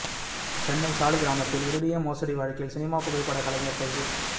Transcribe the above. சென்னை சாலிகிராமத்தில் இரிடியம் மோசடி வழக்கில் சினிமா புகைப்பட கலைஞர் கைது